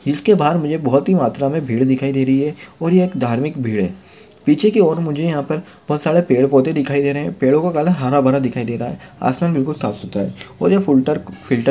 जिसके बाहर मुझे बहुत ही मात्रा मे भीड़ दिखाई दे रही है और ये एक धार्मिक भीड़ है पीछे की और मुझे यहा पर बहुत सारा पेड़ पौधे दिखाई दे रहे पेड़ों का कलर हरा-भरा दिखाई दे रहे आसमान बिलकुल साफ़सुतरा है और ये फॉल्टर फ़िल्टर --